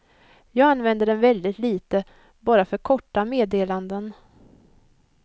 Jag använder den väldigt lite, bara för korta meddelanden.